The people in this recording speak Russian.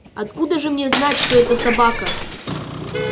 откуда же мне знать что это собака